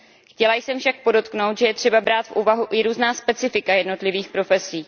Chtěla jsem však podotknout, že je třeba brát v úvahu i různá specifika jednotlivých profesí.